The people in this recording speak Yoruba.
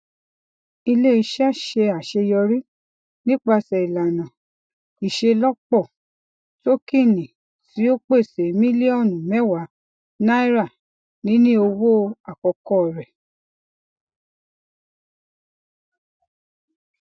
ileiṣẹ ṣe aṣeyọri nipasẹ ilana iṣelọpọ tokiini ti o pese miliọnu mẹwà naira nini owo akọkọ rẹ